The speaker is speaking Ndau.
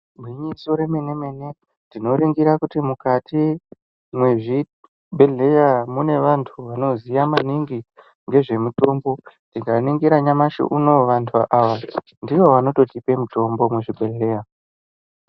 Gwinyiso remene mene tinoningira kuti mukati mezvibhedhlera mune vanhu vanoziya maningi nezvemutombo tikaningira nyamashi unouyu vanhu ava ndivo vanototipa mutombo muzvibhedhlera .